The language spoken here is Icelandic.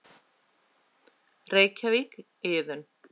Reykjavík, Iðunn.